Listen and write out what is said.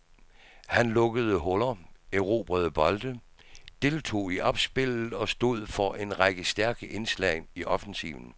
Han lukkede huller, erobrede bolde, deltog i opspillet og stod for en række stærke indslag i offensiven.